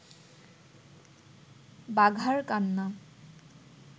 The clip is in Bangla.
বাঘার কান্না